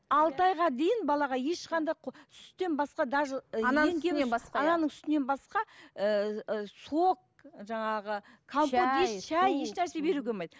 алты айға дейін балаға ешқандай сүттен басқа даже ананың сүтінен басқа ііі сок жаңағы компот еш нәрсе беруге болмайды